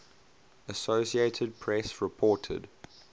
associated press reported